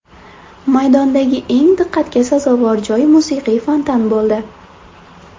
Maydondagi eng diqqatga sazovor joy musiqiy fontan bo‘ldi.